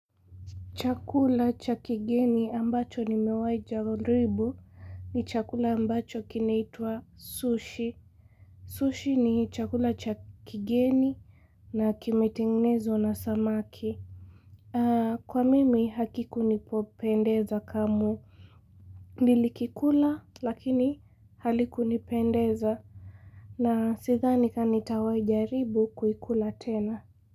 Chakula cha kigeni ambacho nimewahi jaribu ni chakula ambacho kinaitwa sushi. Sushi ni chakula cha kigeni na kimetengenezwa na samaki. Kwa mimi hakikunipopendeza kamwe. Nilikikula lakini halikunipendeza na sidhani ka nitawahi jaribu kuikula tena.